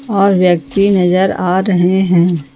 और व्यक्ति नजर आ रहे हैं।